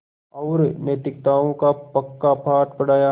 और नैतिकताओं का पक्का पाठ पढ़ाया